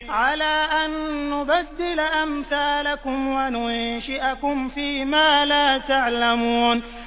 عَلَىٰ أَن نُّبَدِّلَ أَمْثَالَكُمْ وَنُنشِئَكُمْ فِي مَا لَا تَعْلَمُونَ